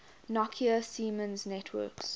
nokia siemens networks